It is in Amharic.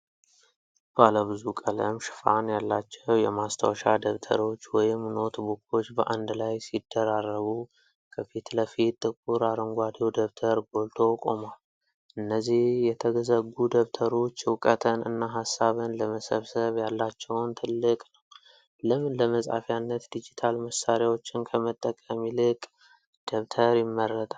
ባለብዙ ቀለም ሽፋን ያላቸው የማስታወሻ ደብተሮች (ኖትቡኮች) በአንድ ላይ ሲደራረቡ፣ ከፊት ለፊት ጥቁር አረንጓዴው ደብተር ጎልቶ ቆሟል። እነዚህ የተዘጉ ደብተሮች እውቀትን እና ሃሳብን ለመሰብሰብ ያላቸውን ትልቅ ነው። ለምን ለመጻፊያነት ዲጂታል መሳሪያዎችን ከመጠቀም ይልቅ ደብተር ይመረጣል?